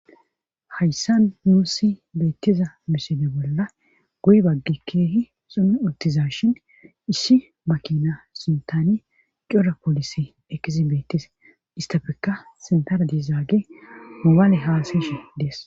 Hayssan muussi beettiza misine bolla guy baggi keehi sumi uttiza shin issi makina suntani cora poolisi ekizibettis istafeka sentara diizaage mubaale haasishi dees.